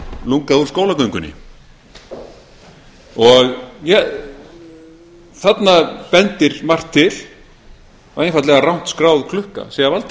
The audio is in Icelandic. lungann úr skólagöngunni þarna bendir margt til að einfaldlega rangt skráð klukka sé að valda